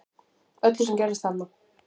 Öllu sem gerðist þarna